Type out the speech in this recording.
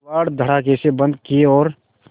किवाड़ धड़ाकेसे बंद किये और